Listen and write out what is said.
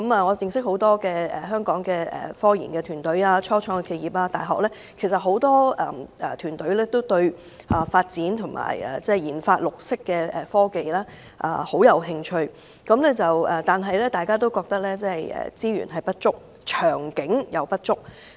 我認識很多香港科研團隊、初創企業和大學，很多團隊均對研發綠色科技甚感興趣，但大家都認為資源和長遠願景也不足。